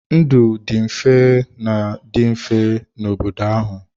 Ndụ dị mfe ma dị mfe n'obodo ahụ.